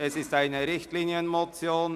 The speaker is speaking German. Es ist eine Richtlinienmotion.